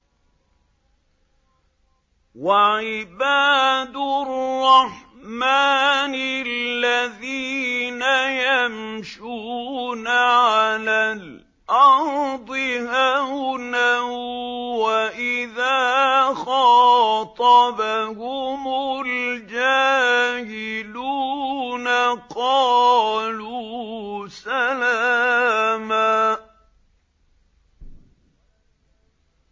وَعِبَادُ الرَّحْمَٰنِ الَّذِينَ يَمْشُونَ عَلَى الْأَرْضِ هَوْنًا وَإِذَا خَاطَبَهُمُ الْجَاهِلُونَ قَالُوا سَلَامًا